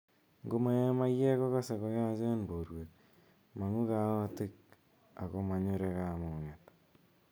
Ngo mae maiyek kokase koyachen porwek, mang'u kaotik ako manyure kamung'et